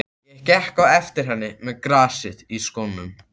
Ég gekk á eftir henni með grasið í skónum!